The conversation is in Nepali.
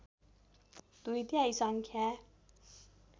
दुई तिहाई सङ्ख्या